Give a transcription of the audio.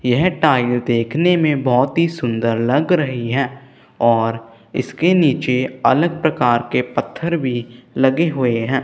यह टाइल देखने में बहोत ही सुंदर लग रही है और इसके नीचे अलग प्रकार के पत्थर भी लगे हुए हैं।